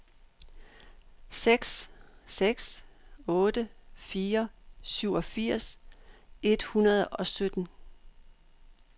seks seks otte fire syvogfirs et hundrede og sytten